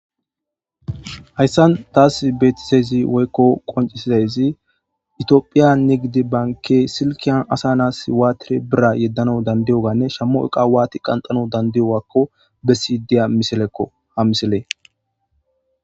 hayssan taass beetisezi woykko qoncisidayzi itiophiya nigidi banke silkiyan asa nas iwaatire bira yeddana dandiyoganne shammo qa awati qanxano dandiyo wakko bessi diya miselekko ha miselee